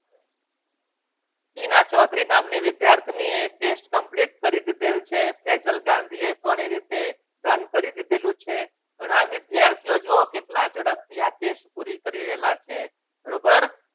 શીલા ચૌધરી નામની વિદ્યાર્થીનીએ test complete કરી દીધેલ છે angle ગાંધીએ પણ એ રીતે દંડ કરી લીધેલું છે ઘણા વિદ્યાર્થીઓ જુઓ કેટલા ઝડપથી આ test પૂરી કરી રહેલા છે.